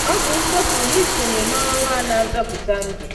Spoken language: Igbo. “Ọ bụ nsọpụrụ isonye na ọrụ a na-azọpụta ndụ.”